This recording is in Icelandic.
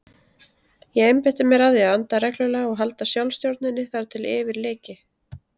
Ég einbeitti mér að því að anda reglulega og halda sjálfsstjórninni þar til yfir lyki.